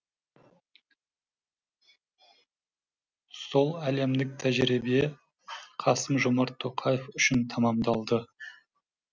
сол әлемдік тәжірибе қасым жомарт тоқаев үшін тәмамдалды